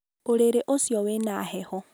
ũrĩrĩ ũcio wĩ na heho.